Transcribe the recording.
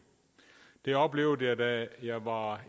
det oplevede jeg da jeg var